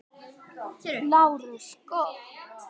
LÁRUS: Gott.